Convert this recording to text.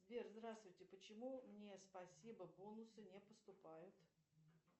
сбер здравствуйте почему мне спасибо бонусы не поступают